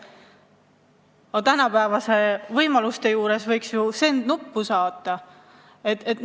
Aga tänapäevaste võimaluste juures võiks ju piisata sellest, et vajutad "Send" nuppu.